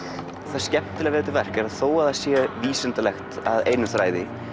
það skemmtilega við þetta verk er að þó að það sé vísindalegt að öðrum þræði